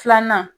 Filanan